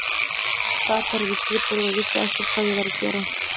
Sat bara við skrifborðið og vissi ekkert hvað ég var að gera.